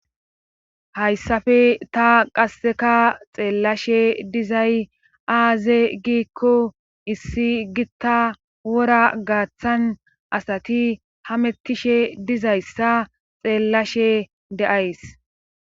Hayssafe ta qasse xeellashe dizay aaze giikko issi gitta wora gaathan asati hamettishe dizayssa xeellashe de7ays